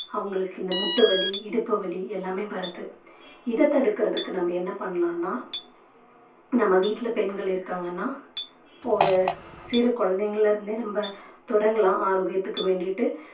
அவங்களுக்கு இந்த முட்டு வலி இடுப்பு வலி எல்லாமே வறுது இத தடுக்குறதுக்கு நம்ம என்ன பண்ணலாம்னா நம்ம வீட்ல பெண்கள் இருக்காங்கன்னா ஒரு சிறு குழந்தைகளை இருந்தே நம்ம தொடங்கலாம் ஆரோக்கியத்துக்கு வேண்டிட்டு